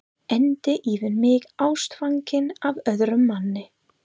Enda yfir mig ástfangin af öðrum manni.